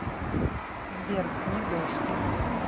сбер не дождь